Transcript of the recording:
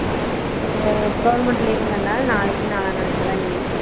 இது government leave வுகற நல நாளைக்கு நலன்நாளைக்கு எல்ல leave வு